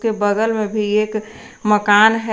के बगल में भी एक मकान है।